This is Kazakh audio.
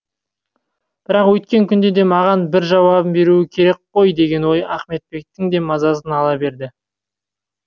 бірақ өйткен күнде де маған бір жауабын беруі керек керек қой деген ой ахметбектің де мазасын ала берді